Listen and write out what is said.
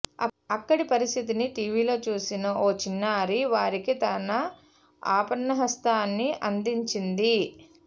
అక్కడి పరిస్థితిని టీవీల్లో చూసిన ఓ చిన్నారి వారికి తన ఆపన్నహస్తాన్ని అందించింది